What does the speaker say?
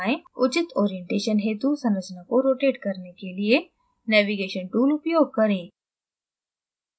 उचित orientation हेतु संरचना को rotate करने के लिए navigation tool उपयोग करें